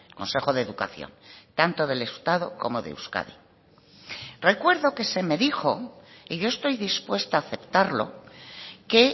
consejo de educación tanto del estado como de euskadi recuerdo que se me dijo y yo estoy dispuesta a aceptarlo que